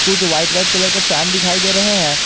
जो white white colour के fan दिखाई दे रहे हैं।